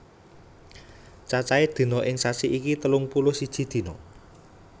Cacahe dina ing sasi iki telung puluh siji dina